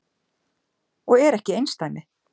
Og er ekki einsdæmi.